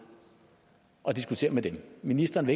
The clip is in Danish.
og diskutere med dem ministeren